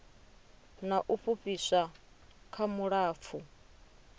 na u fhufhiswa kha vhulapfu